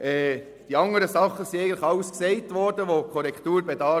Wo sonst noch Korrekturbedarf besteht, wurde bereits gesagt.